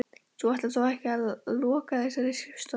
Þú ætlar þó ekki að loka þessari skrifstofu?